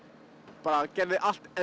bara gerði allt